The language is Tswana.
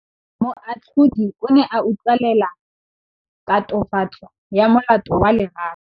Moatlhodi o ne a utlwelela tatofatsô ya molato wa Lerato.